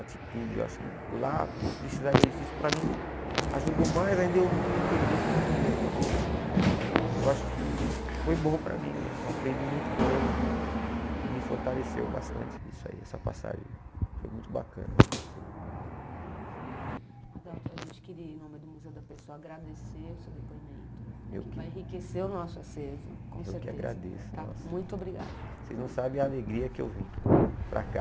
atitudes, eu acho que lá precisaria isso, isso para mim ajudou mais ainda eu me entender comigo mesmo, eu falava, poxa eu acho que foi bom para mim né eu aprendi muito com eles e e me fortaleceu bastante isso aí essa passagem, foi muito bacana eu gostei Adalto, a gente queria em nome do Museu da Pessoa agradecer o seu depoimento que vai enriquecer o nosso acervo com certeza, eu que agradeço muito obrigado vocês não sabem a alegria que eu vim para cá